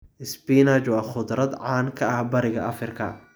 Spinach waa khudrad caan ka ah Bariga Afrika.